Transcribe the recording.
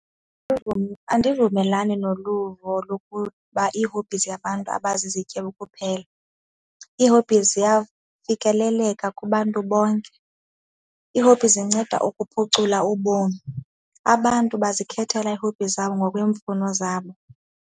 Andivumelani nolu luvo lokuba ii-hobbies abantu abazizityebi kuphela. Ii-hobbies ziyafikeleleka kubantu bonke. Ii-hobbies zinceda ukuphucula ubomi. Abantu bazikhethela ii-hobbies zabo ngokweemfuno zabo.